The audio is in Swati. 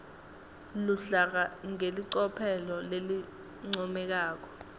luhlaka ngelicophelo lelincomekako